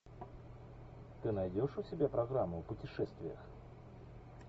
ты найдешь у себя программу о путешествиях